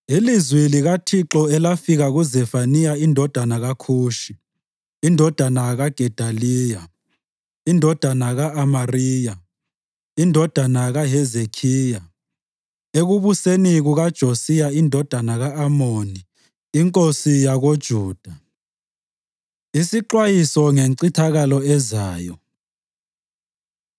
Ilizwi likaThixo elafika kuZefaniya indodana kaKhushi, indodana kaGedaliya, indodana ka-Amariya, indodana kaHezekhiya, ekubuseni kukaJosiya indodana ka-Amoni inkosi yakoJuda: Isixwayiso Ngencithakalo Ezayo